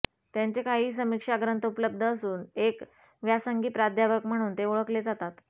त्यांचे काही समीक्षा ग्रंथ उपलब्ध असून एक व्यासंगी प्राध्यापक म्हणून ते ओळखले जातात